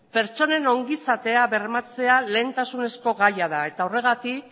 pertsonen ongizatea bermatzea lehentasunezko gaia da eta horregatik